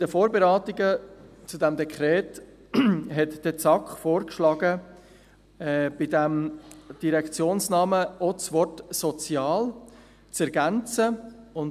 In den Vorberatungen zu diesem Dekret schlug die SAK vor, in diesen Direktionsnamen auch das Wort «sozial» aufzunehmen.